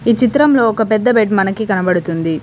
ఈ చిత్రంలో ఒక పెద్ద బెడ్ మనకి కనబడుతుంది.